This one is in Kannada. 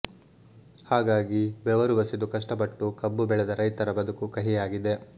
ಹಾಗಾಗಿ ಬೆವರು ಬಸಿದು ಕಷ್ಟುಪಟ್ಟು ಕಬ್ಬು ಬೆಳೆದ ರೈತರ ಬದುಕು ಕಹಿಯಾಗಿದೆ